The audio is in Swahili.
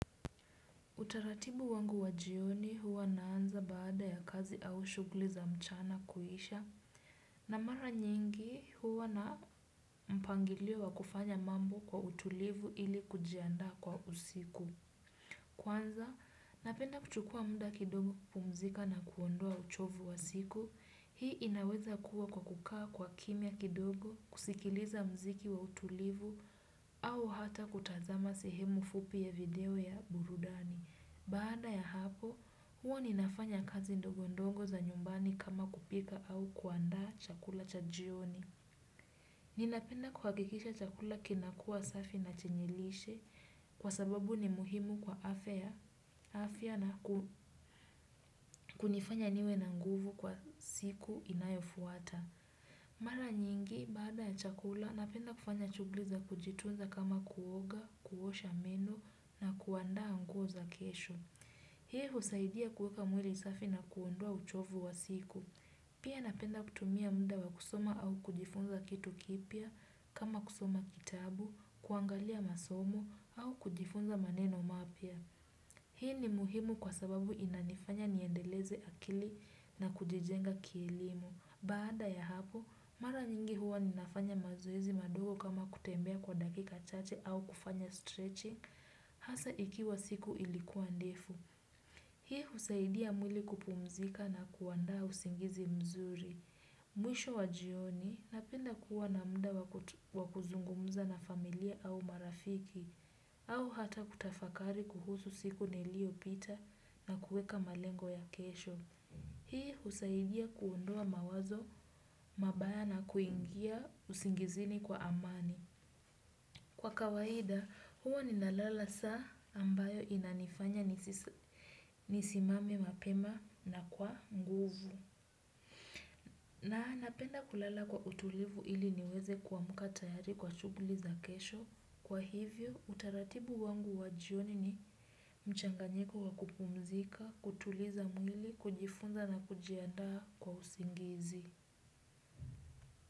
Utaratibu wangu wa jioni huwa naanza baada ya kazi au shughuli za mchana kuisha na mara nyingi huwa na mpangilio wa kufanya mambo kwa utulivu ili kujiandaa kwa usiku. Kwanza, napenda kuchukua mda kidogo kupumzika na kuondoa uchovu wa siku. Hii inaweza kuwa kwa kukaa kwa kimya kidogo kusikiliza mziki wa utulivu au hata kutazama sehemu fupi ya video ya burudani. Baada ya hapo, huwa ninafanya kazi ndogondongo za nyumbani kama kupika au kuandaa chakula cha jioni. Ninapenda kuhakikisha chakula kinakua safi na chenye lishe kwa sababu ni muhimu kwa afya na kunifanya niwe na nguvu kwa siku inayofuata. Mara nyingi, baada ya chakula, napenda kufanya shugli za kujitunza kama kuoga, kuosha meno na kuandaa nguo za kesho. Hii husaidia kuweka mwili safi na kuondoa uchovu wa siku. Pia napenda kutumia muda wa kusoma au kujifunza kitu kipya, kama kusoma kitabu, kuangalia masomo au kujifunza maneno mapya. Hii ni muhimu kwa sababu inanifanya niendeleze akili na kujijenga kielimu. Baada ya hapo, mara nyingi huwa ninafanya mazoezi madogo kama kutembea kwa dakika chache au kufanya stretching, hasa ikiwa siku ilikuwa ndefu. Hii husaidia mwili kupumzika na kuandaa usingizi mzuri. Mwisho wa jioni napenda kuwa na mda wa kuzungumuza na familia au marafiki, au hata kutafakari kuhusu siku niliopita na kueka malengo ya kesho. Hii husaidia kuondoa mawazo, mabaya na kuingia usingizini kwa amani. Kwa kawaida, huwa ninalala saa ambayo inanifanya nisimame mapema na kwa nguvu. Na napenda kulala kwa utulivu ili niweze kuamka tayari kwa shughuli za kesho. Kwa hivyo, utaratibu wangu wa jioni ni mchanganyiko wa kupumzika, kutuliza mwili, kujifunza na kujiandaa kwa usingizi.